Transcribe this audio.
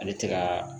Ale tɛ ka